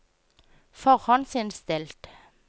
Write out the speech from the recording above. forhåndsinnstilt